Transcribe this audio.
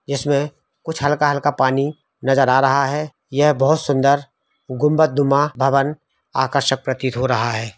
जिसमें कुछ हल्का हल्का पानी नजर आ रहा है। यह बहुत सुन्दर गुंबददुमा भवन आकर्षक प्रतीत हो रहा है।